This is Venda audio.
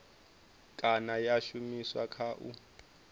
kana ya shumiswa kha u